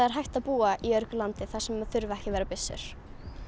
er hægt að búa í öruggu landi þar sem þurfa ekki að vera byssur